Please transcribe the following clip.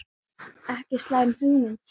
Ekki slæm hugmynd þetta.